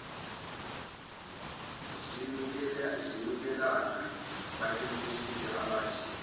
zinukelana baqinisile abathi